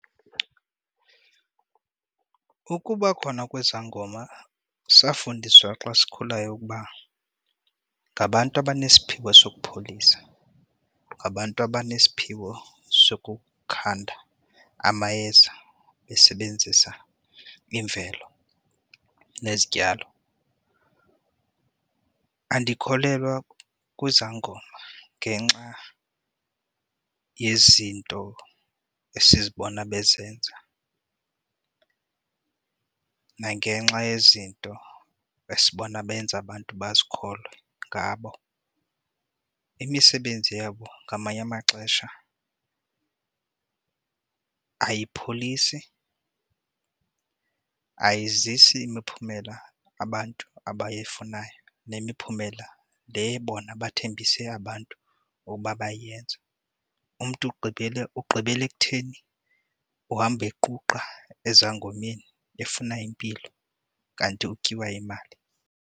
Ukuba khona kwezangoma safundiswa xa sikhulayo ukuba ngabantu abanesiphiwo sokupholisa, ngabantu abanesiphiwo sokukhanda amayeza besebenzisa imvelo nezityalo. Andikholelwa kwizangoma ngenxa yezinto esizibona bezenza nangenxa yezinto esibona benza abantu bazikholwe ngabo. Imisebenzi yabo ngamanye amaxesha ayipholisi ayizisi imiphumela abantu abayifunayo nemiphumela le bona bathembise abantu bokuba bayayenze. Umntu ugqibele ugqibela ekutheni uhamba equqa ezangomeni efuna impilo kanti utyiwa imali.